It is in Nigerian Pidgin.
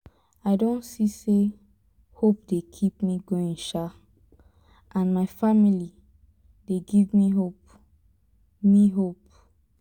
i don see say hope dey keep me going sha and my family dey give me hope me hope